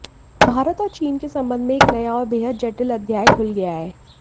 भारत और चीन के संबंध में एक नया और बेहद जटिल अध्याय खुल गया है